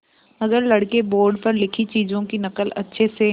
अगर लड़के बोर्ड पर लिखी चीज़ों की नकल अच्छे से